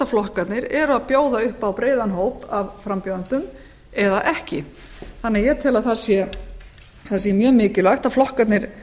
flokkarnir eru að bjóða upp á breiðan hóp af frambjóðendum eða ekki þannig að ég tel að það sé mjög mikilvægt að flokkarnir